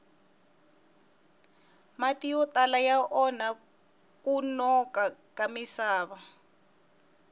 mati yo tala ya onha kunona ka misava